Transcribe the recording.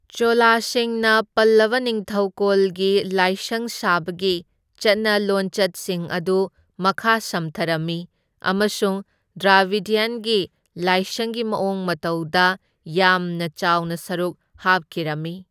ꯆꯣꯂꯥꯁꯤꯡꯅ ꯄꯜꯂꯕ ꯅꯤꯡꯊꯧꯀꯣꯜꯒꯤ ꯂꯥꯏꯁꯪ ꯁꯥꯕꯒꯤ ꯆꯠꯅ ꯂꯣꯟꯆꯠꯁꯤꯡ ꯑꯗꯨ ꯃꯈꯥ ꯁꯝꯊꯔꯝꯃꯤ ꯑꯃꯁꯨꯡ ꯗ꯭ꯔꯥꯕꯤꯗ꯭ꯌꯟꯒꯤ ꯂꯥꯏꯁꯪꯒꯤ ꯃꯑꯣꯡ ꯃꯇꯧꯗ ꯌꯥꯝꯅ ꯆꯥꯎꯅ ꯁꯔꯨꯛ ꯍꯥꯞꯈꯤꯔꯝꯃꯤ꯫